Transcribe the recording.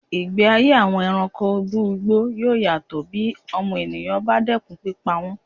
Ìgbé ayé àwọn ẹranko ibú igbó yóò yàtọ̀ bí ọmọnìyàn bá dẹ́kun pípa wọn.